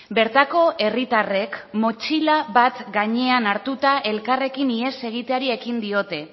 bertako herritarrek motxila bat gainean hartuta elkarrekin ihes egiteari ekin diote